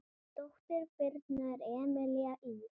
Dóttir Birnu er Emelía Ýr.